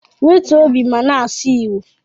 Wetuo obi ma na-asụ igbo